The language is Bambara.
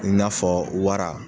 I n'a fɔ wara.